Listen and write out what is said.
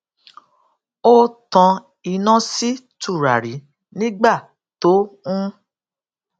ó tan iná sí tùràrí nígbà tó ń